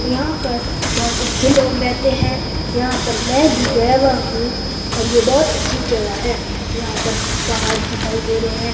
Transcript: यहां पर बहोत अच्छे लोग रहते हैं यहां पर मैं भी गया हुआ हूं और ये बहुत अच्छी जगह है यहां पर पहाड़ दिखाई दे रहे है।